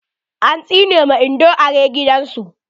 An tsine ma Indo are gidan su.